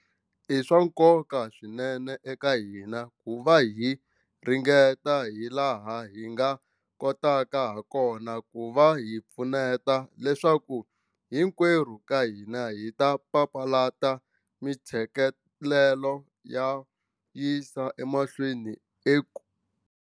I swa nkoka swinene eka hina ku va hi ringeta hilaha hi nga kotaka hakona ku va hi pfuneta leswaku hinkwerhu ka hina hi papalata ntshikelelo wo yisa emahlweni eka.